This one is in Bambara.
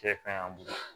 Cɛ kaɲi an bolo